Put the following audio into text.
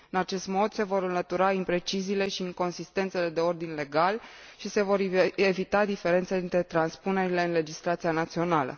În acest mod se vor înlătura impreciziile și inconsistențele de ordin legal și se vor evita diferențele dintre transpunerile în legislația națională.